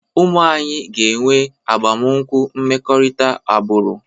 Ụmụ anyị ga-enwe agbamakwụkwọ mmekọrịta agbụrụ.